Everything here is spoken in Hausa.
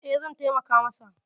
E, zan taimaka masa.